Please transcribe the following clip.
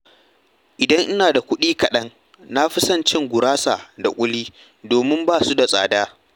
Idan ina da kuɗi kaɗan, na fi son cin gurasa da ƙuli domin ba su da tsada.